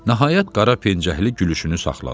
Nəhayət, qara pencəkli gülüşünü saxladı.